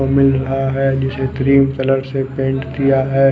मिल रहा है जिसे क्रीम कलर से पेंट किया हुआ है।